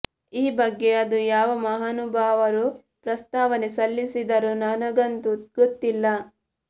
ಈ ಬಗ್ಗೆ ಅದು ಯಾವ ಮಹಾನುಭಾವರು ಪ್ರಸ್ತಾವನೆ ಸಲ್ಲಿಸಿದರೋ ನನಗಂತೂ ಗೊತ್ತಿಲ್ಲ